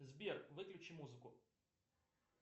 сбер выключи музыку